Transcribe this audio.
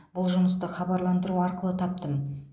бұл жұмысты хабарландыру арқылы таптым